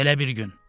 Belə bir gün.